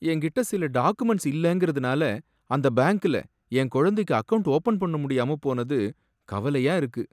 என்கிட்ட சில டாக்குமெண்ட்ஸ் இல்லங்கறதுனால அந்த பேங்க்ல என் குழந்தைக்கு அக்கவுண்ட் ஓப்பன் பண்ணமுடியாம போனது கவலையா இருக்கு.